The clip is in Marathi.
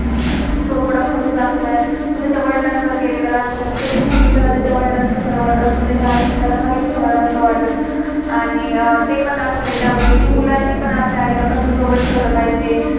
जो थोडा खडूस दाखवलाय, तो त्याच्या वदिलानवर गेलेला दाखवलाय. थ त्याला नेहमी त्याला त्याच्या वडिलांच खरा वाटत असतं. तेच्या आई च त्याला काहीच खरं नसतंच वाटत. आणि ते पण दाखवलय त्यामध्ये कि मुलानी पण आपल्या आई ला कसं ठेवलं पाहिजे.